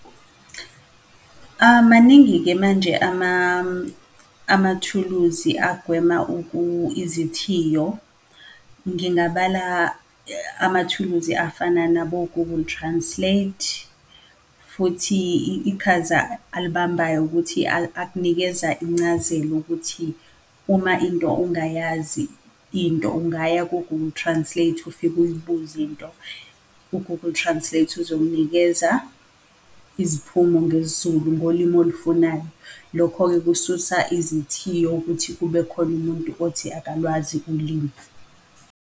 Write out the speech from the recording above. Maningi-ke manje amathuluzi agwema izithiyo. Ngingabala amathuluzi afana nabo-Google Translate, futhi iqhaza alibambayo ukuthi akunikeza incazelo ukuthi uma into ungayazi into ungaya ku-Google Translate ufike uyibuze into. U-Google Translate uzokunikeza iziphumo ngesiZulu ngolimi olifunayo. Lokho-ke kususa izithiyo ukuthi kube khona umuntu othi akalwazi ulimi.